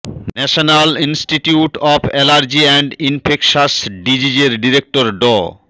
national institute of allergy and infectious ডিজিজে়র director ড